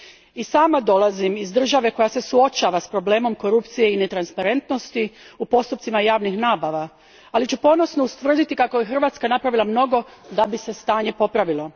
I sama dolazim iż države koja se suočava s problemom korupcije i netransparentnosti u postupcima javnih nabava, ali ću ponosno ustvrditi kako je Hrvatska napravila mnogo da bi se stanje popravilo.